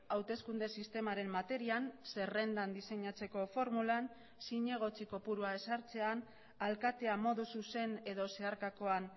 hauteskunde sistemaren materian zerrendan diseinatzeko formulan zinegotzi kopurua ezartzean alkatea modu zuzen edo zeharkakoan